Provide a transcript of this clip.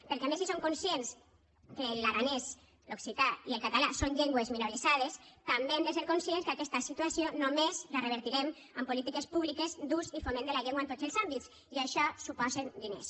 perquè a més si són conscients que l’aranès l’occità i el català són llengües minoritzades també hem de ser conscients que aquesta situació només la revertirem amb polítiques públiques d’ús i foment de la llengua en tots els àmbits i això suposa diners